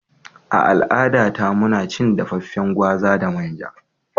A al'adata, muna cin dafaffen gwaza da manja.